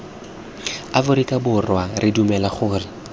aforika borwa re dumela gore